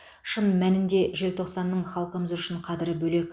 шын мәнінде желтоқсанның халқымыз үшін қадірі бөлек